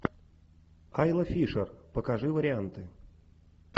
айла фишер покажи варианты